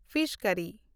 fees ᱠᱟᱨᱤ